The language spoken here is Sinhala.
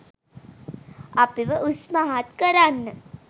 අපිව උස්මහත් කරන්න.